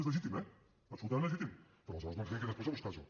és legítim eh absolutament legítim però aleshores no ens vingui després a buscar això